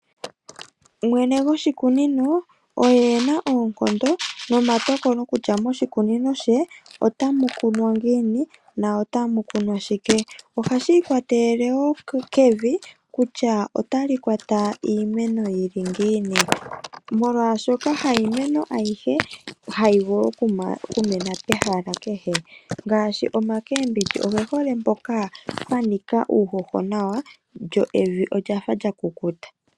Mwene gwoshikunino oye ena oonkondo nomatokolo kutya moshikunino she ota mu kunwa ngiini, na ota mu kunwa shike. Oha shi ikwatelele woo kevi, kutya ota li kwata iimeno yili ngiini. Molwaashoka ha imeno ayihe ha yi vulu okumena pehala kehe. Ngaashi makeembidji oge hole mpoka pwa nika uuhoho nawa, lyo evi olyafa lya kukuta.